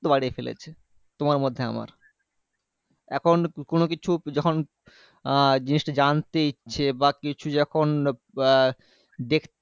বাড়িয়ে ফেলেছে তোমার মধ্যে আমার এখন কোনোকিছু যখন আহ জিনিসটা জানতে ইচ্ছে বা কিছু যখন বা দেখ